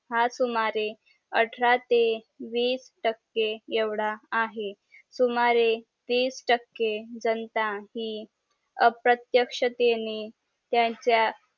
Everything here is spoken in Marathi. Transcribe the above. हा सुमारे अठरा ते वीस टके एवढा आहे सुमारे तीस टके जनता हि अप्रत्यक्षतेने त्यांचा